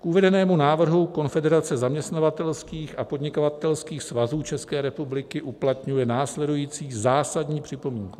K uvedenému návrhu Konfederace zaměstnavatelských a podnikatelských svazů České republiky uplatňuje následující zásadní připomínku.